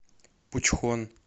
пучхон